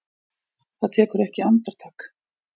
Það tekur ekki andartak.